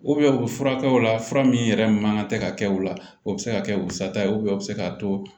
u furakɛ o la fura min yɛrɛ man ka tɛ ka kɛ u la o bɛ se ka kɛ u sata ye u bɛ se k'a to